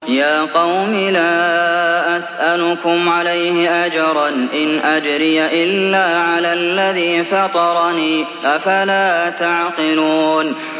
يَا قَوْمِ لَا أَسْأَلُكُمْ عَلَيْهِ أَجْرًا ۖ إِنْ أَجْرِيَ إِلَّا عَلَى الَّذِي فَطَرَنِي ۚ أَفَلَا تَعْقِلُونَ